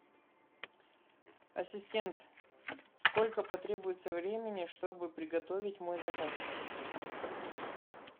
ассистент сколько потребуется времени чтобы приготовить мой заказ